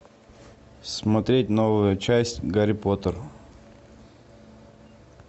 смотреть новую часть гарри поттер